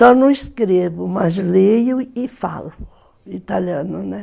Só não escrevo, mas leio e falo italiano, né?